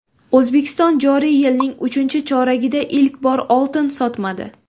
O‘zbekiston joriy yilning uchinchi choragida ilk bor oltin sotmadi.